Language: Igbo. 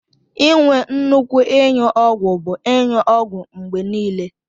Inwe nnukwu inyụ ọgwu bu inyụ ọgwu mgbe nile.